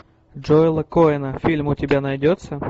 джоэла коэна фильм у тебя найдется